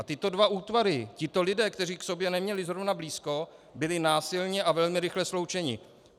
A tyto dva útvary, tito lidé, kteří k sobě neměli zrovna blízko, byli násilně a velmi rychle sloučeni.